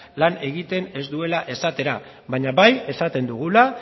lan egiten ez duela esatera baina bai esaten dugula